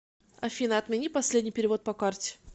афина отмени последний перевод по карте